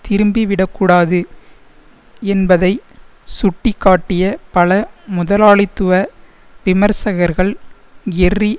திரும்பிவிடக்கூடாது என்பதை சுட்டி காட்டிய பல முதலாளித்துவ விமர்சகர்கள் எர்ரி